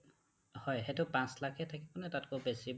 হয়, সেইটো পাচ লাখ এ থাকিবনে তাতকৈ বেছি বা